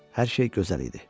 Hər şey gözəl idi.